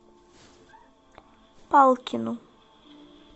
палкину